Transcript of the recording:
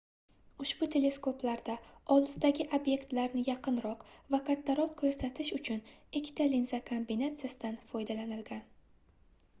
ushbu teleskoplarda olisdagi obyektlarni yaqinroq va kattaroq koʻrsatish uchun ikkita linza kombinatsiyasidan foydalanilgan